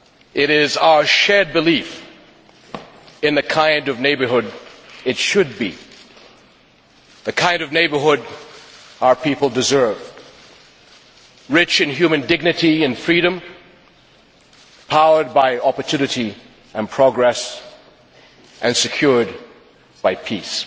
It is our shared belief in the kind of neighbourhood it should be the kind of neighbourhood our people deserve, rich in human dignity and freedom, powered by opportunity and progress, and secured by peace.